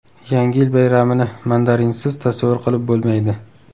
Yangi yil bayramini mandarinsiz tasavvur qilib bo‘lmaydi.